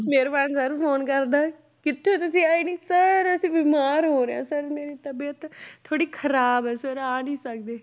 ਮੇਰੇ ਪਾਸ sir phone ਕਰਦਾ ਕਿੱਥੇ ਆ ਤੁਸੀਂ ਆਏ ਨੀ sir ਅਸੀਂ ਬਿਮਾਰ ਹੋ ਰਹੇ ਹਾਂ sir ਮੇਰੀ ਤਬੀਅਤ ਥੋੜ੍ਹੀ ਖ਼ਰਾਬ ਹੈ sir ਆ ਨੀ ਸਕਦੇ।